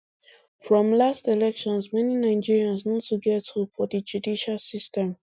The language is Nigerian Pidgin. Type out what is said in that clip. from last elections many nigerians no too get hope for di judicial system